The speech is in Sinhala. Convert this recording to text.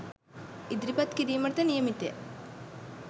ඉදිරිපත් කිරීමටද නියමිතය